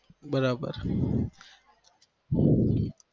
બરાબર